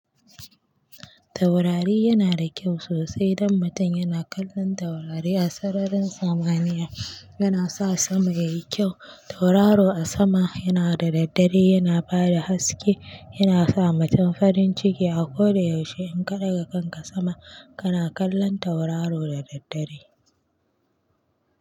Taurari yana da kyau sosai don mutum yana kallon taurari a sararin samaniya. Yana sa sama yayi kyau. Tauraro a sama yana da daddare yana bada haske, yana sa mutum farin ciki. A koda yaushe in ka ɗaga kanka sama kana kallon tauraro da daddare.